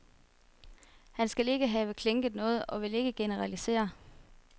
Han skal ikke have klinket noget og vil ikke generalisere.